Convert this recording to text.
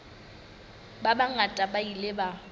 ba bangata ba ile ba